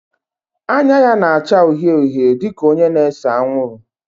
Anya ya na-acha uhie uhie dị ka onye na-ese anwụrụ